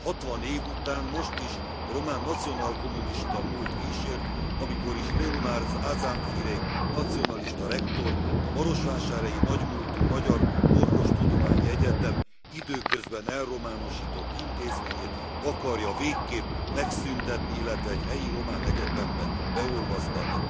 Hatvan év után, most is a román nemzeti kommunista múlt kísért, amikor is Leonard Aramfirei nacionalista rektor a marosvásárhelyi nagy múltú magyar orvostudományi egyetem időközben elrománosított intézményét akarja végképp megszüntetni, illetve egy helyi román egyetembe beolvasztani.